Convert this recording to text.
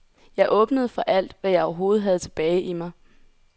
Jeg åbnede for alt, hvad jeg overhovedet havde tilbage i mig.